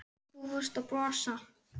Og þú fórst að brosa.